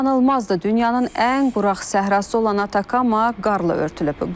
İnanılmazdır, dünyanın ən quraq səhrası olan Atakama qarla örtülüb.